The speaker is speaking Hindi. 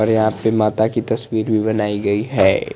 और यहा पे माता की तस्वीर भी बनाई गई है।